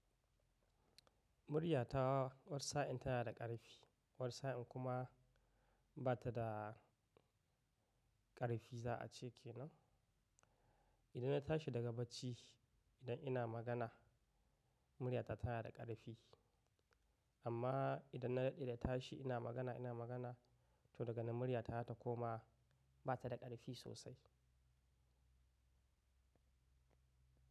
Muryata wasa yin tana da ƙarfi wasa yin kuma ba ta da ƙarfi za a ce ke nan. Idan na tashi daga bacci, idan ina magana muryata ta yana da ƙarfi amma idan na daɗe na tashi ina magana ina magana to daga nan muryata ta koma ba ta da ƙarfi sosai.